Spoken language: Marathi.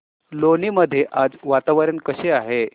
लोणी मध्ये आज वातावरण कसे आहे